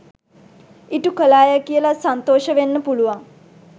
ඉටු කළාය කියලා සන්තෝෂ වෙන්න පුළුවන්.